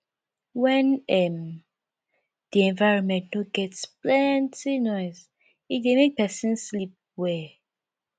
when um di environment no get plenty nose e dey make person sleep well